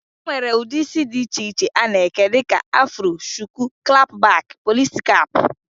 E nwere ụdị isi dị iche iche a na-eke dịka afro, shuku, klap bak, polisi kap